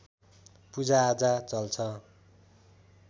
पूजाआजा चल्छ